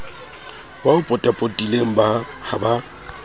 ba o potapotileng ha ba